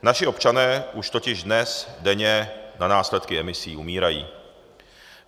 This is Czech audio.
Naši občané už totiž dnes denně na následky emisí umírají.